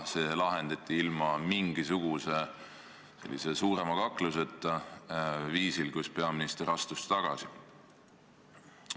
See lahendati ilma mingisuguse suurema kakluseta, viisil, kus peaminister astus tagasi.